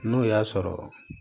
N'o y'a sɔrɔ